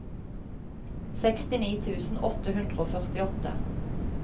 sekstini tusen åtte hundre og førtiåtte